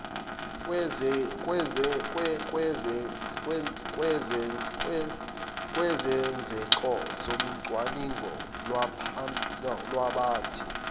kwezenzeko zocwaningo lwabaphathi